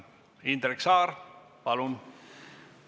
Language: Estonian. Indrek Saar, palun!